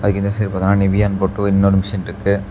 இந்த சைடு பாத்தன்ன நிவியானு போட்டு இன்னொரு மெஷின் ருக்கு.